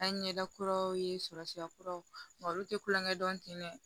An ye ɲɛda kuraw ye sɔrɔ sira kuraw olu tɛ kulonkɛ dɔn ten dɛ